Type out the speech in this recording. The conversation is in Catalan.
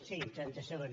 sí trenta segons